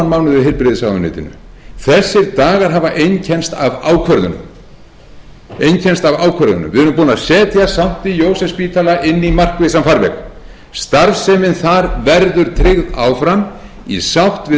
mánuð í heilbrigðisráðuneytinu þessir dagar hafa einkennst af ákvörðunum við erum búin að setja st jósefsspítala inn í markvissan farveg starfsemin þar verður tryggð áfram í sátt við